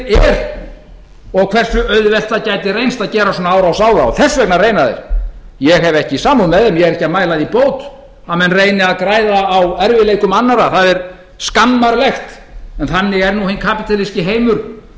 er og hversu auðvelt það gæti reynst að gera svona árás á þá þess vegna reyna þeir ég hef ekki samúð með þeim ég er ekki að mæla því bót að menn reyni að græða á erfiðleikum annarra það er skammarlegt en þannig er nú hinn kapítalíski heimur